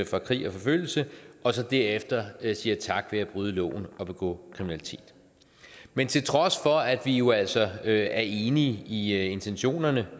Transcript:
fra krig og forfølgelse og derefter siger tak ved at bryde loven og begå kriminalitet men til trods for at vi jo altså er enige i intentionerne